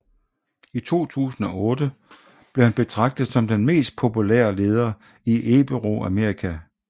I 2008 blev han betragtet som den mest populære leder i Iberoamerika